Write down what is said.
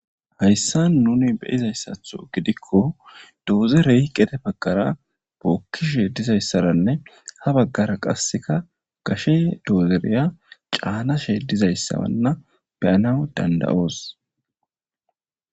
hayssa nuni beyizayssatho gidikko doozerey qete baggara bookkishe dizayssaranne ha baggara qasseka gashe doozereya caanashe dizayssaanna beyana dandayoos